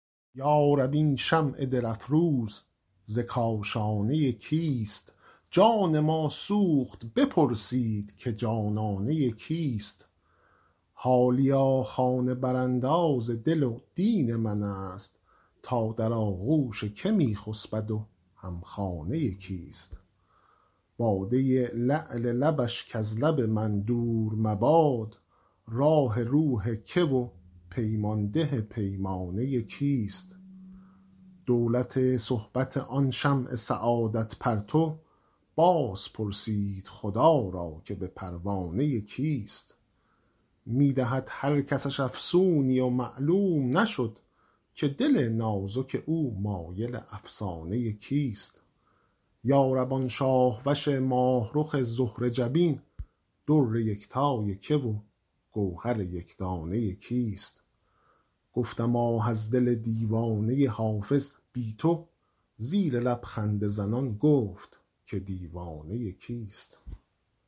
یا رب این شمع دل افروز ز کاشانه کیست جان ما سوخت بپرسید که جانانه کیست حالیا خانه برانداز دل و دین من است تا در آغوش که می خسبد و هم خانه کیست باده لعل لبش کز لب من دور مباد راح روح که و پیمان ده پیمانه کیست دولت صحبت آن شمع سعادت پرتو باز پرسید خدا را که به پروانه کیست می دهد هر کسش افسونی و معلوم نشد که دل نازک او مایل افسانه کیست یا رب آن شاه وش ماه رخ زهره جبین در یکتای که و گوهر یک دانه کیست گفتم آه از دل دیوانه حافظ بی تو زیر لب خنده زنان گفت که دیوانه کیست